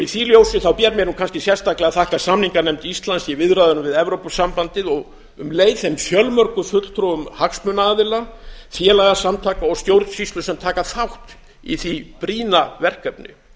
í því ljósi ber mér kannski sérstaklega að þakka samninganefnd íslands í viðræðunum við evrópusambandið og um leið þeim fjölmörgu fulltrúum hagsmunaaðila félagasamtaka og stjórnsýslu sem taka þátt í því brýna verkefni